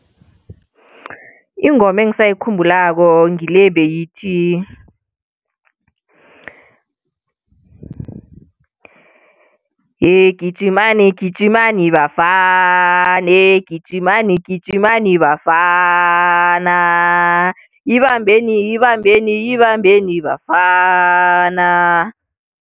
Ingoma engisayikhumbulako ngile ebeyithi yegijimani gijimani bafana yegijimani gijimani bafana ibambeni ibambeni ibambeni bafana.